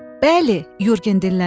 Bəli, Yurgen dilləndi.